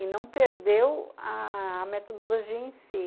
E não perdeu a metodologia em si.